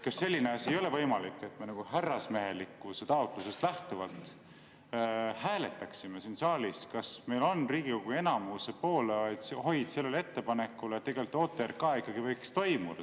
Kas selline asi ei ole võimalik, et me härrasmehelikkuse taotlusest lähtuvalt hääletaksime siin saalis, kas meil on Riigikogu enamuse poolehoid sellele ettepanekule, et OTRK arutelu ikkagi võiks toimuda?